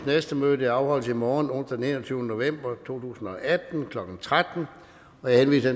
næste møde afholdes i morgen onsdag den enogtyvende november to tusind og atten klokken tretten jeg henviser